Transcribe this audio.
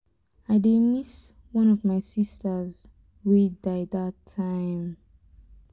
i dey miss one of my sisters wey die dat time.